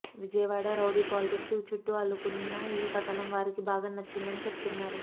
Vijayawada rowdy politics చుట్టూ అల్లుకున్న ఈ కథనం వారికి బాగా నచ్చిందని చెప్తున్నారు